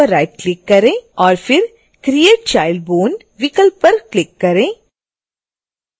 और फिर create child bone विकल्प पर क्लिक करें